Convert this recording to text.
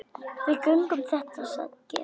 Við göngum þetta sagði Georg.